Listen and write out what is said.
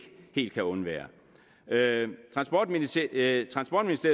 helt kan undvære transportministeriet